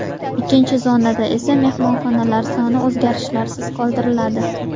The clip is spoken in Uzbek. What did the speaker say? Ikkinchi zonada esa mehmonxonalar soni o‘zgarishsiz qoldiriladi.